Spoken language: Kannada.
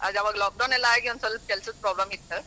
ಅದ ಆವಾಗ lockdown ಆಗಿ ಒಂದ್ ಸ್ವಲ್ವ ಕೆಲ್ಸದ್ problem ಇತ್ತ.